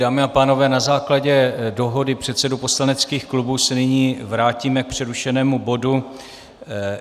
Dámy a pánové, na základě dohody předsedů poslaneckých klubů se nyní vrátíme k přerušenému bodu